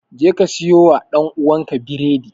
Jeka siyowa ɗan'uwanka biredi!